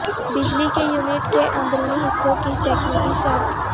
بجلی کے یونٹ کے اندرونی حصوں کی تکنیکی شرط